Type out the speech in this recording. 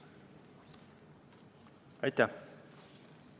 Aitäh!